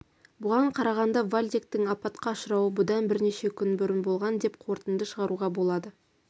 бұған қарағанда вальдектің апатқа ұшырауы бұдан бірнеше күн бұрын болған деп қорытынды шығаруға болады